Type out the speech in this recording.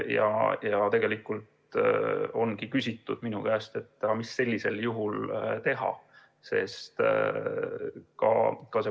Ja minu käest on küsitud, mida sellisel juhul teha.